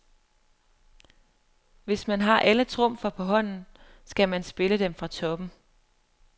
Hvis man har alle trumfer på hånden, skal man spille dem fra toppen.